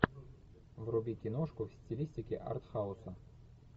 вруби киношку в стилистике артхауса